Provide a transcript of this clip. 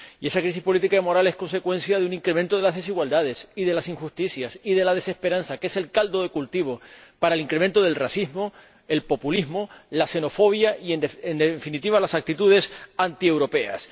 Y esa crisis política y moral es consecuencia de un incremento de las desigualdades, de las injusticias y de la desesperanza, que es el caldo de cultivo para el incremento del racismo, del populismo, de la xenofobia y, en definitiva, de las actitudes antieuropeas.